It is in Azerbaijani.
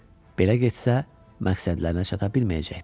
Belə getsə, məqsədlərinə çata bilməyəcəkdilər.